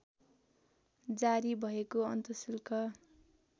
जारी भएको अन्तशुल्क